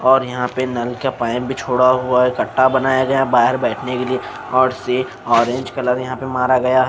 और यहां पे नल का पाइप भी छोड़ा हुआ है कट्टा बनाया गया बाहर बैठने के लिए और से ऑरेंज कलर यहां पे मारा गया--